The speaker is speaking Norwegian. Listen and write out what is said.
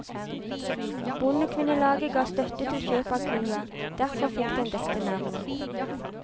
Bondekvinnelaget gav støtte til kjøp av kua, derfor fikk den dette navnet.